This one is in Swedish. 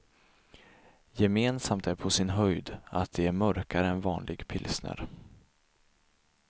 Gemensamt är på sin höjd att de är mörkare än vanlig pilsner.